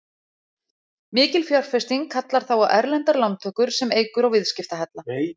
Mikil fjárfesting kallar þá á erlendar lántökur sem eykur á viðskiptahalla.